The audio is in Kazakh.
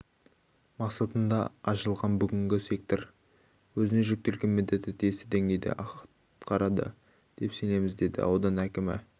мақсатында ашылған бүгінгі сектор өзіне жүктелген міндетті тиісті деңгейде атқарады деп сенеміз деді аудан әкімі